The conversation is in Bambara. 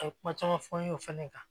A ye kuma caman fɔ n ye o fɛnɛ kan